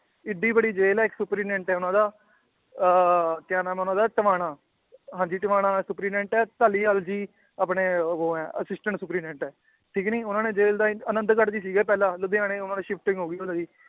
ਏਡੀ ਵੱਡੀ ਜੇਲ੍ਹ ਹੈ ਇੱਕ superintendent ਹੈ ਉਹਨਾਂ ਦਾ ਅਹ ਕਿਆ ਨਾਮ ਹੈ ਉਹਨਾਂ ਦਾ ਧਵਾਣਾ, ਹਾਂਜੀ ਧਵਾਣਾ superintendent ਹੈ ਧਾਲੀਵਾਲ ਜੀ ਆਪਣੇ ਉਹ ਹੈ assistant superintendent ਹੈ ਠੀਕ ਨੀ, ਉਹਨੇ ਜੇਲ੍ਹ ਦਾ ਆਨੰਦਗੜ੍ਹ ਚ ਸੀਗੇ ਪਹਿਲਾਂ ਲੁਧਿਆਣੇ shifting ਹੋ ਗਈ ਉਹਨਾਂ ਦੀ